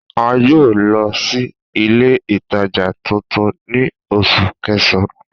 A yoo lọ si ile itaja tuntun ni Oṣu Kẹsan